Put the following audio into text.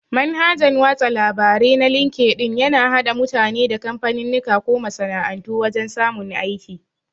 Manhajan watsa labare na linkedin yana hada mutane da kamfaninnika ko masana'antu wajan samun aiki